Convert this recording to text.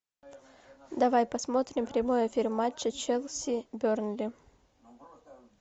давай посмотрим прямой эфир матча челси бернли